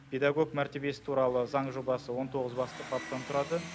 педагог мәртебесі туралы заң жобасы он тоғыз басты баптан тұрады